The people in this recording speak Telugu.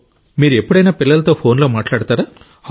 మీరు ఎప్పుడైనా పిల్లలతో ఫోన్లో మాట్లాడుతారా